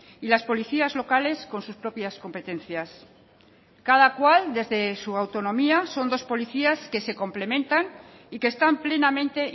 y las policías locales con sus propias competencias cada cual desde su autonomía son dos policías que se complementan y que están plenamente